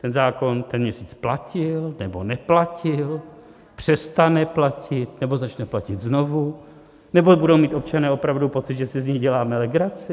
Ten zákon ten měsíc platil, nebo neplatil, přestane platit, nebo začne platit znovu, nebo budou mít občané opravdu pocit, že si z nich děláme legraci?